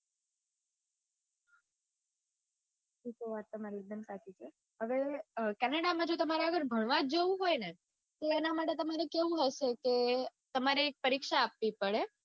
વાત તમારી એકદમ સાચી છે હવે canada માં તમારે આગળ ભણવા જ જાઉં હોય ને તો એના માટે તમારે કેવું હશે કે તમારે એક પરીક્ષા આપવી પડે.